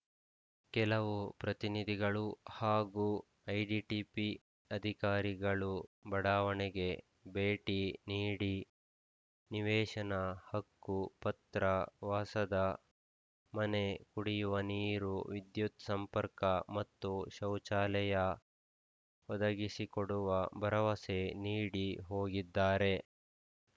ಕೆಲವು ಜನಪ್ರತಿನಿಧಿಗಳು ಹಾಗೂ ಐಟಿಡಿಪಿ ಅಧಿಕಾರಿಗಳು ಬಡಾವಣೆಗೆ ಭೇಟಿ ನೀಡಿ ನಿವೇಶನ ಹಕ್ಕುಪತ್ರ ವಾಸದ ಮನೆ ಕುಡಿಯುವ ನೀರು ವಿದ್ಯುತ್‌ ಸಂಪರ್ಕ ಮತ್ತು ಶೌಚಾಲಯ ಒದಗಿಸಿಕೊಡುವ ಭರವಸೆ ನೀಡಿ ಹೋಗಿದ್ದಾರೆ